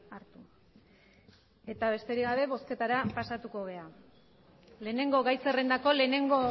hartu besterik gabe bozketara pasatuko gara lehenengo gai zerrendako lehenengo